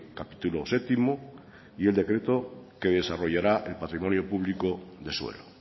capítulo séptimo y el decreto que desarrollará el patrimonio público de suelo